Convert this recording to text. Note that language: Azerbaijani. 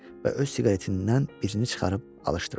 Və öz siqaretindən birini çıxarıb alışdırdı.